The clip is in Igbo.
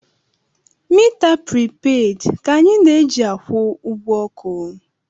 Mita pripeed ka anyị na-eji akwụ ụgwọ ọkụ.